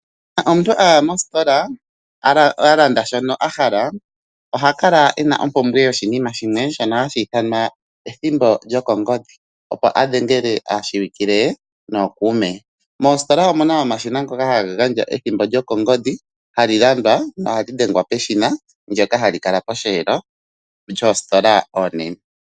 Uuna omuntu a ya mositola, a landa shono a hala, oha kala e na ompumbwe yoshinima shimwe shono hashi ithanwa ethimbo lyokongodhi, opo a dhengele aashiwikile ye nookuume. Moositola omuna omashina ngoka haga gandja ethimbo lyokongodhi hali landwa nohali dhengwa peshina ndoka hali kala posheelo yoositola oonene.